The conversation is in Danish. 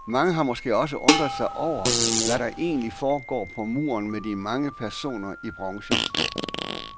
Mange har måske også undret sig over, hvad der egentlig foregår på muren med de mange personer i bronze.